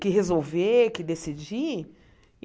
que resolver, que decidir.